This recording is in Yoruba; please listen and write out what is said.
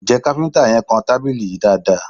Ǹjẹ́ kafinta yẹn kàn tábìlì yìí dáadaa?